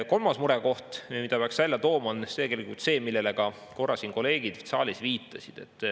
Kolmas murekoht, mille peaks välja tooma, on see, millele korra kolleegid siin saalis juba viitasid.